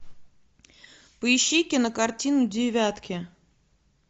поищи кинокартину девятки